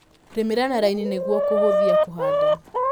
Rĩmĩra na raini nĩguo kũhũthia kũhanda.